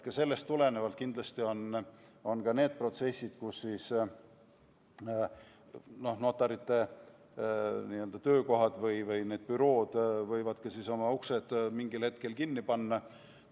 Sellest tulenevad kindlasti ka need protsessid, mille käigus notarite töökohad või need bürood võivadki oma uksed mingil hetkel kinni panna.